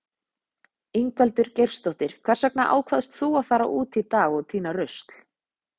Ingveldur Geirsdóttir: Hvers vegna ákvaðst þú að fara út í dag og týna rusl?